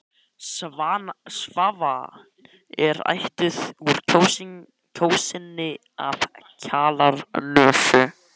Svava er ættuð úr Kjósinni og af Kjalarnesi.